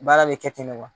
Baara bɛ kɛ ten de wa